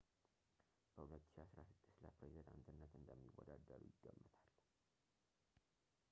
በ 2016 ለፕሬዚዳንትነት እንደሚወዳደሩ ይገመታል